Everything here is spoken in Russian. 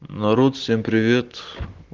народ всем привет